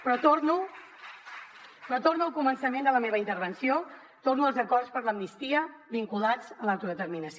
però torno al començament de la meva intervenció torno als acords per l’amnistia vinculats a l’autodeterminació